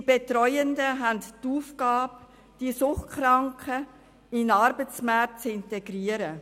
Die Betreuenden haben die Aufgabe, die Suchtkranken in den Arbeitsmarkt zu integrieren.